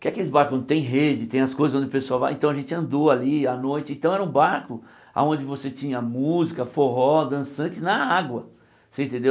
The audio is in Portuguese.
Que aqueles barcos que não tem rede, tem as coisas onde o pessoal vai, então a gente andou ali à noite, então era um barco aonde você tinha música, forró, dançante na água, você entendeu?